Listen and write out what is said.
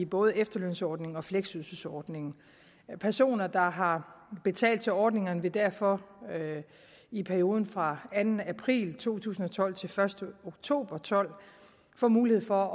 både i efterlønsordningen og fleksydelsesordningen personer der har betalt til ordningerne vil derfor i perioden fra anden april to tusind og tolv til den første oktober og tolv få mulighed for